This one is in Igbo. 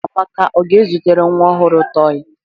Amaka ọ ga-ezitere nwa ọhụrụ tọị?